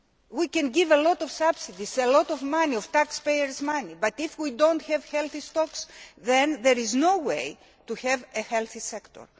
We can give a lot of subsidies, a lot of money taxpayers' money but if we do not have healthy stocks, then there is no way to have a healthy sector.